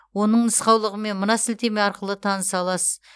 оның нұқаулығымен мына сілтеме арқылы таныса аласыз